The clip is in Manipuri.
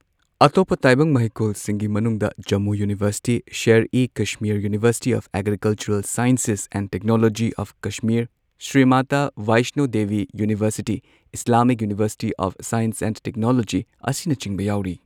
ꯑꯇꯣꯞꯄ ꯇꯥꯏꯕꯪꯃꯍꯩꯀꯣꯜꯁꯤꯡꯒꯤ ꯃꯅꯨꯡꯗ Jammu university, Sher e Kashmir university of agricultural sciences and technology of Kashmir, Shri Mata Vaishno Devi university, Islamic university of science and technology ꯑꯁꯤꯅꯆꯤꯡꯕ ꯌꯥꯎꯔꯤ꯫